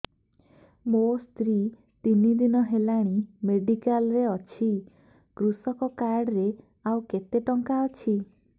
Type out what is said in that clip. ମୋ ସ୍ତ୍ରୀ ତିନି ଦିନ ହେଲାଣି ମେଡିକାଲ ରେ ଅଛି କୃଷକ କାର୍ଡ ରେ ଆଉ କେତେ ଟଙ୍କା ଅଛି